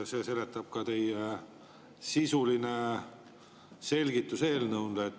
See seletab ka teie sisulist selgitust eelnõu kohta.